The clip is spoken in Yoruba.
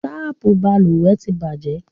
Tapu balùwẹ́ tí bàjẹ́